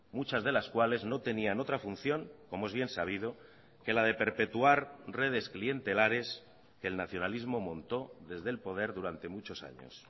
muchas de las cuales no tenían otra función como es bien sabido que la de perpetuar redes clientelares que el nacionalismo montó desde el poder durante muchos años